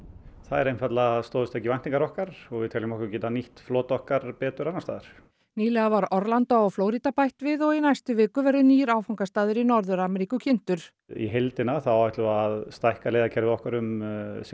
þær einfaldlega stóðust ekki væntingar okkar og við teljum okkur geta nýtt flota okkar betur annars staðar nýlega var Orlandó á Flórída bætt við og í næstu viku verður nýr áfangastaður í Norður Ameríku kynntur í heildina þá ætlum við að stækka leiðakerfið okkar um ca